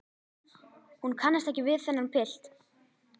Hún kannast ekki við þennan pilt.